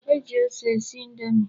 E ji ose esi indomi.